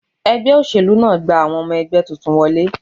Ẹgbẹ́ òṣèlú náà gba àwọn ọmọ ẹgbẹ́ tuntun wọlé